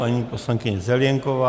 Paní poslankyně Zelienková.